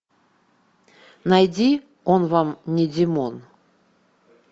найди он вам не димон